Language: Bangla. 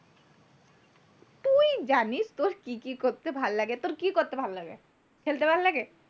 তুই জানিস তোর কি কি করতে ভাল্লাগে, তোর কি করতে ভাল্লাগে, খেলতে ভাল্লাগে?